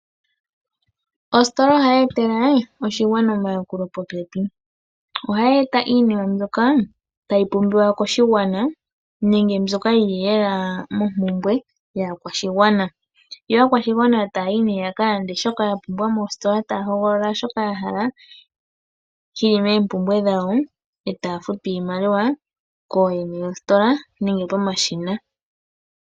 Ositola ohayi etele oshigwana omayakulo popepi, oha yeeta iinima mbyoka tayi pumbiwa koshigwana nenge mbyoka yili lela mompumbwe yaakwashigwana. Yo aakwashigwana taya yi nee yakalande shoka yapumbwa meestola, taya hogolola shoka yahala shili moompumbwe dhawo e taya futu iimaliwa kooyene yostilola nenge pomashina.